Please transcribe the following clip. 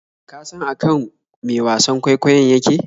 Ka san akan me wasan kwaikwayon yake?